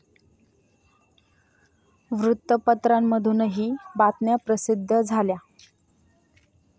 वृत्तपत्रांमधूनही बातम्या प्रसिद्ध झाल्या.